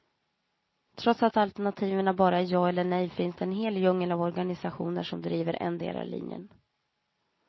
Trots att alternativen bara är ja eller nej finns det en hel djungel av organisationer som driver endera linjen.